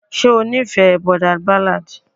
ṣe ó nífẹ̀ẹ́ boarder ballad.